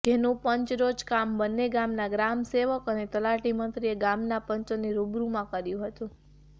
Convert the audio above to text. જેનું પંચરોજ કામ બન્ને ગામના ગ્રામ સેવક અને તલાટી મંત્રીએ ગામના પંચોની રૂબરૂમાં કર્યું હતું